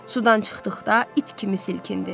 Sudan çıxdıqda it kimi silkindi.